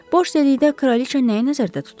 Boş dedikdə Kraliçə nəyi nəzərdə tutur?